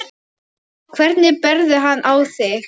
Hvernig berðu hann á þig?